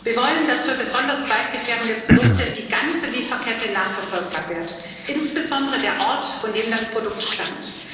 Wir wollen, dass für besonders waldgefährdende Produkte die ganze Lieferkette nachverfolgbar wird, insbesondere der Ort, von dem das Produkt stammt.